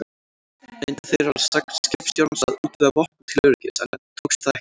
Reyndu þeir að sögn skipstjórans að útvega vopn til öryggis, en tókst það ekki.